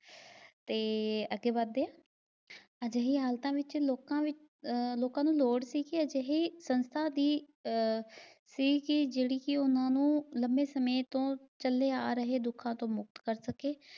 ਤੇ ਅਗੇ ਵੱਧਦੇ ਆ। ਅਜਿਹੀ ਹਾਲਤਾਂ ਵਿਚ ਲੋਕਾਂ ਵਿਚ ਅਹ ਲੋਕਾਂ ਨੂੰ ਲੋੜ ਸੀ ਵੀ ਅਜੇਹੀ ਸੰਸਥਾ ਦੀ ਅਹ ਸੀ ਕੀ ਜਿਹੜੀ ਕੀ ਉਹਨਾਂ ਨੂੰ ਲੰਬੇ ਸਮੇਂ ਤੋਂ ਚਲੇ ਆ ਰਹੇ ਦੁੱਖਾਂ ਤੋਂ ਮੁਕਤ ਕਰ ਸਕੇ।